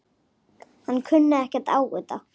Hann kunni ekkert á þetta.